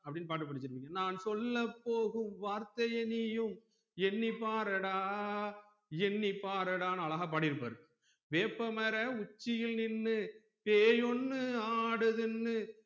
அப்டின்னு பாட்டு படிச்சிருப்பிங்க நான் சொல்ல போகும் வார்த்தைய நீயும் எண்ணி பாரடா எண்ணி பாரடானு அழகா பாடிருப்பாரு வேப்பமர உச்சியில் நின்னு பேயி ஒன்னு ஆடுதுன்னு